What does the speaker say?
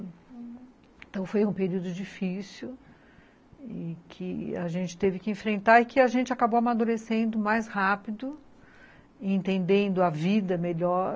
Então foi um período difícil que a gente teve que enfrentar e que a gente acabou amadurecendo mais rápido, entendendo a vida melhor,